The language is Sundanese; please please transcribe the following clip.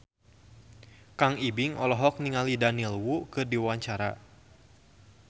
Kang Ibing olohok ningali Daniel Wu keur diwawancara